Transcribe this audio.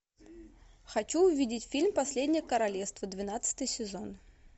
хочу увидеть фильм последнее королевство двенадцатый сезон